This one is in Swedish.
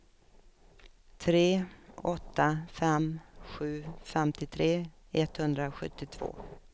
tre åtta fem sju femtiotre etthundrasjuttiotvå